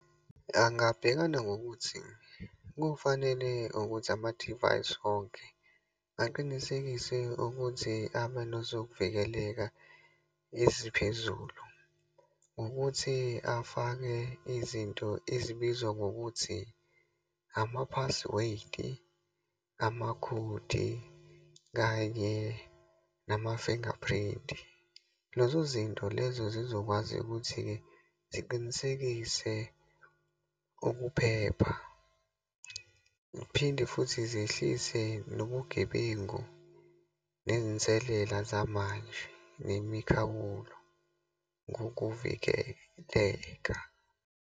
Angabhekana ngokuthi, kufanele ukuthi amadivayisi onke aqinisekise ukuthi abanezokuvikeleka eziphezulu. Ukuthi afake izinto ezibizwa ngokuthi, ama-password-i, amakhodi kanye nama-fingerprint-i. Lezo zinto lezo zizokwazi ukuthi-ke ziqinisekise ukuphepha. Phinde futhi zehlise nobugebengu, nezinselela zamanje, nemikhawulo ngokuvikeleka.